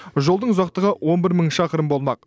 жолдың ұзақтығы он бір мың шақырым болмақ